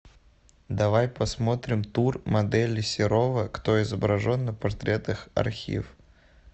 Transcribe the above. давай посмотрим тур модели серова кто изображен на портретах архив